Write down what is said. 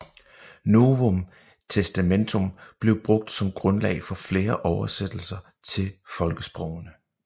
Novum Testamentum blev brugt som grundlag for flere oversættelser til folkesprogene